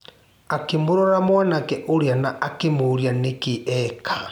Akĩmũrora mwanake ũrĩa na akĩmũũrĩa nĩkĩ eka.